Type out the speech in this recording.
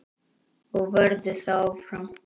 Og verður það áfram.